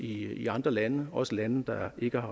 i andre lande også lande der ikke